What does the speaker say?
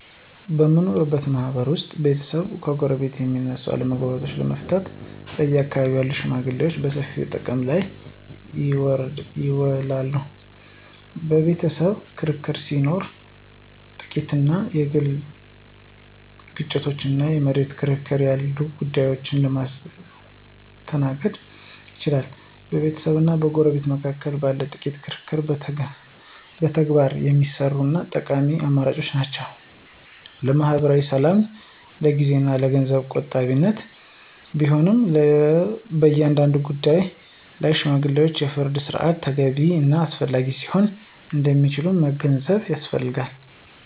በምንኖርበት ማህበረሰብ ውስጥ ቤተሰብና ጎረቤት መካከል የሚነሱ አለመግባባቶችን ለመፍታት በአካባቢው ያሉ ሽመግሌዎችን በሰፊው ጥቅም ላይ ይውላሉ። የቤተሰብ ክርክር ሲኖር፣ ጥቃቅን የግል ግጭቶች እና የመሬት ክርክር ያሉ ጉዳዮችን ማስተናገድ ይችላሉ። በቤተሰብና በጎረቤት መካከል ባለ ጥቂት ክርክር በተግባር የሚሰሩ እና ጠቃሚ አማራጮች ናቸው። ለማኅበራዊ ሰላምና ለጊዜ እና ለገንዘብ ቆጣቢነት ቢሆንም፣ በአንዳንድ ጉዳዮች ላይ የሽማግሌዎች የፍርድ ሥርዓት ተገቢ እና አስፈላጊ ሊሆን እንደሚችል መገንዘብ ያስፈልጋል።